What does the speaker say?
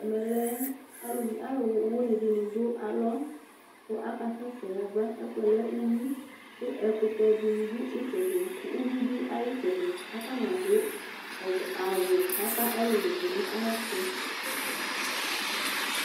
Ɛmɛ lɛ alʋ alʋwɩnɩ dɩnɩ dʋ alɔ , kʋ akasɛ sɛ yaba : ɛfʋɛ lɛ uyui ; kʋ ɛkʋtɛ dɩnɩ dʋ ay'ɩtsɛdɩ , uyui dʋ ay'ɩtsɛdɩ , k'atanɩadʋ ɔvlɛ awʋ k'ata ɔlʋlʋ dʋ n'ayɛtʋ